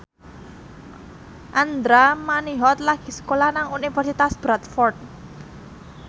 Andra Manihot lagi sekolah nang Universitas Bradford